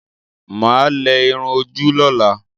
Mà á lẹ irun ojú lọ́la.